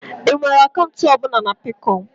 Ị nwere akaụntụ ọ bụla na Peekọm?